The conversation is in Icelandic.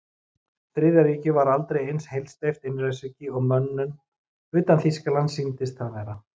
Þriðja ríkið var aldrei eins heilsteypt einræðisríki og mönnum utan Þýskalands sýndist það vera.